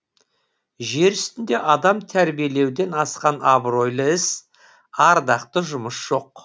жер үстінде адам тәрбиелеуден асқан абыройлы іс ардақты жұмыс жоқ